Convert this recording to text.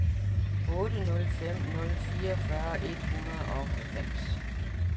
otte nul fem nul fireogfyrre et hundrede og halvfems